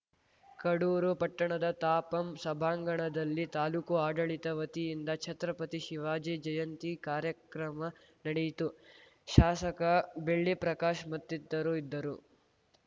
ಕಡೂರು ಪಟ್ಟಣದ ತಾಪಂ ಸಭಾಂಗಣದಲ್ಲಿ ತಾಲೂಕು ಆಡಳಿತ ವತಿಯಿಂದ ಛತ್ರಪತಿ ಶಿವಾಜಿ ಜಯಂತಿ ಕಾರ್ಯಕ್ರಮ ನಡೆಯಿತು ಶಾಸಕ ಬೆಳ್ಳಿ ಪ್ರಕಾಶ್‌ ಮತ್ತಿತರು ಇದ್ದರು